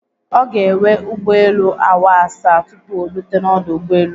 Ọ ga ewe ụgbọ elu awa asaa tupu orute n'ọdụ ụgbọ elu.